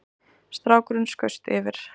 Strákurinn skaust yfir